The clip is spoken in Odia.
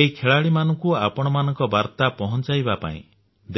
ଏହି ଖେଳାଳିମାନଙ୍କୁ ଆପଣମାନଙ୍କ ବାର୍ତ୍ତା ପହଞ୍ଚାଇବା ପାଇଁ